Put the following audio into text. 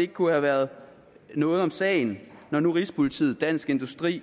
ikke kunne have været noget om sagen når nu rigspolitiet dansk industri